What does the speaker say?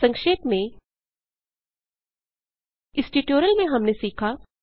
संक्षेप में इस ट्यूटोरियल में हमने सीखा